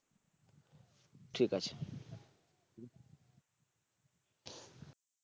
ঠিক আছে।